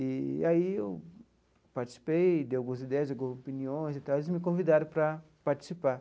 E aí eu participei, dei algumas ideias, algumas opiniões e tal e eles me convidaram para participar.